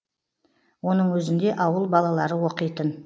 оның өзінде ауыл балалары оқитын